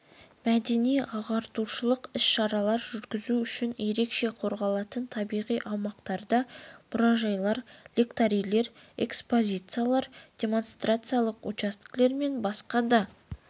мәдени-ағартушылық іс-шаралар жүргізу үшін ерекше қорғалатын табиғи аумақтарда мұражайлар лекторийлер экспозициялар демонстрациялық учаскелер мен басқа да